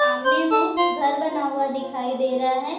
सामने में घर बना हुआ दिखाई दे रहा है।